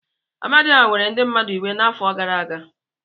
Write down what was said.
Amadioha were ndị mmadụ iwe n'afọ gara aga.